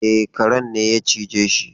E, karen ne ya cije shi.